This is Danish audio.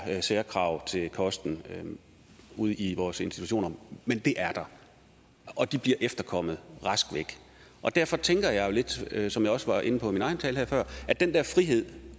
særkrav til kosten ude i vores institutioner men det er der og de bliver efterkommet derfor tænker jeg lidt som jeg også var inde på i min egen tale her før at den der frihed